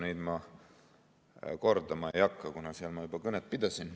Neid ma kordama ei hakka, kuna seal ma juba kõnet pidasin.